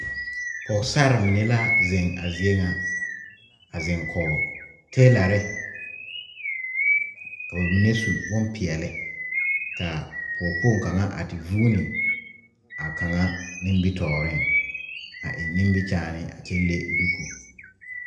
Pɔgesarre mine la zeŋ a zie ŋa a zeŋ kɔge teelare ka ba mine su bompeɛle ka pɔgekpoŋ kaŋa a te vuuni a kaŋa nimitɔɔreŋ a eŋ nimikyaane le duku.